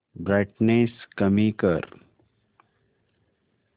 brightness कमी कर